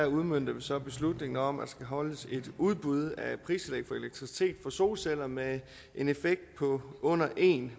udmønter vi så beslutningen om at der skal holdes et udbud af pristillæg for elektricitet fra solceller med en effekt på under en